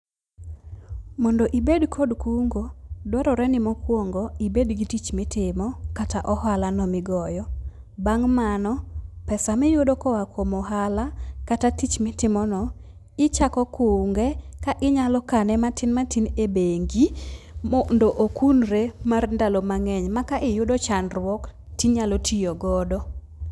Mondo ibed kod kungo, dwarore ni mokwongo ibed gi tich mitimo kata ohala no migoyo . Bang' mano, pesa miyudo koa kuom ohala kata tich mitimo no, ichako kunge ka inyalo kane matin matin e bengi mondo okunre mar ndalo mang'eny ma ka iyudo chandruok tinyalo tiyo godo.